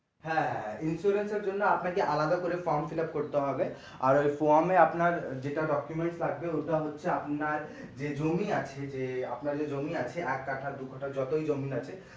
হ্যাঁ insurance এর জন্য আপনাকে আরেকটা আলাদা করে form fillup করতে হবে আর form এ আপনার যেটা document আছে ওটা হচ্ছে আপনার যে জমি আছে যে আট কাঠা দু কাঠা যতই জমি আছে